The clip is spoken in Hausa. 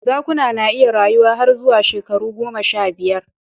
Zakuna na iya rayuwa har zuwa shekaru goma sha biyar